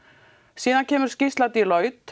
síðan kemur skýrsla Deloitte